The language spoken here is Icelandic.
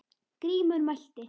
Grímur mælti